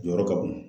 Jɔyɔrɔ ka bon